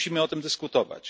Musimy o tym dyskutować.